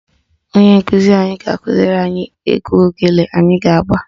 Onyeisi anyị ga-akụziri anyị egwu ogene anyị ga-agba